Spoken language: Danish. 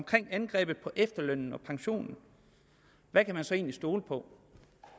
angrebet på efterløn og pension hvad kan man så egentlig stole på